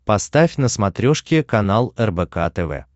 поставь на смотрешке канал рбк тв